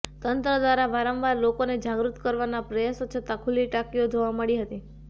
તંત્ર દ્વારા વારંવાર લોકોને જાગૃત કરવાના પ્રયાસો છતાં ખુલ્લી ટાંકીઓ જોવા મળી હતી